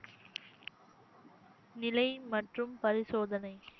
நிலை மற்றும் பரிசோதனை